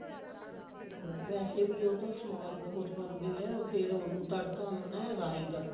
ਵੇਸੇ ਵੀ ਉਹ ਸਵਾਦ ਬਹੁਤ ਬਣਦੀ ਹੈ ਫ਼ੇਰ ਉਹਨੂੰ ਤੜਕਾ ਲਾਉਣਾ ਰਾਈ ਦਾ